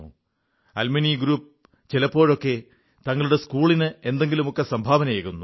alumni group ചിലപ്പോഴൊക്കെ തങ്ങളുടെ സ്കൂളിന് എന്തെങ്കിലുമൊക്കെ സംഭാവനയേകുന്നു